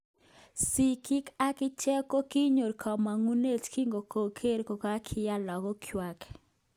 Sikiig akicheg kokinyor komongunet kinkoker kokakinya lagok ngwak